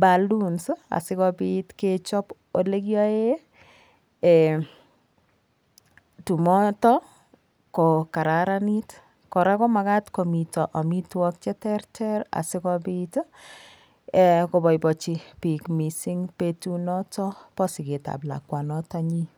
balloons asikopit kechop yekiyoe tumotok ko kararanit koraa ko makat komito amitwok cheterter asimapit kopoipoichi piik petut notok po siget ab lakwanotok nyin.